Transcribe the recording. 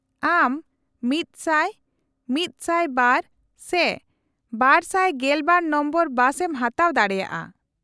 -ᱟᱢ ᱑᱐᱐ᱹ᱑᱐᱒ᱹ ᱥᱮ ᱒᱑᱒ ᱱᱚᱢᱵᱚᱨ ᱵᱟᱥ ᱮᱢ ᱦᱟᱛᱟᱣ ᱫᱟᱲᱮᱭᱟᱜᱼᱟ ᱾